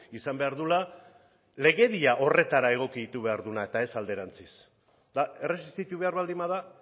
izan behar duela legedia horretara egokitu behar duela eta ez alderantziz eta erresistitu behar baldin bada